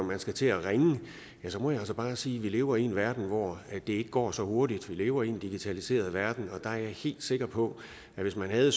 man skal til at ringe ja så må jeg altså bare sige at vi lever i en verden hvor det ikke går så hurtigt vi lever en digitaliseret verden og der er jeg helt sikker på at hvis man havde